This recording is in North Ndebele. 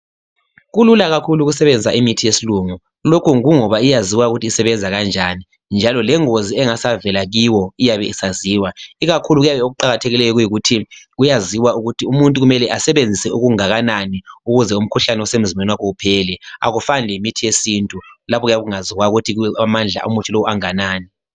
Kulula kakhulu ukusebenzisa imithi yesilungu. Lokhu kungoba iyaziwa ukuthi isebenza kanjani njalo lengozi engasavela kiwo iyabe isaziwa ikakhulu okuyabe kuqakathekile kuyikuthi kuyaziwa ukuthi umuntu kumele asebenzise okunganani ukuze umkhuhlane osemzimbeni wakhe uphele. Akufani lemithi yesintu lapha okungaziwayo ukuthi amandla omuthi lo anganani.